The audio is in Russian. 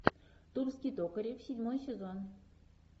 тульский токарев седьмой сезон